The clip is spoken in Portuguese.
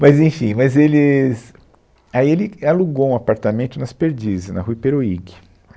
Mas enfim, mas eles, aí ele é alugou um apartamento nas Perdizes, na Rua Iperoig.